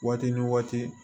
Waati ni waati